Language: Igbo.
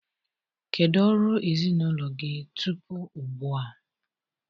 Kedu ọrụ ezinụlọ gị tupu ugbu a?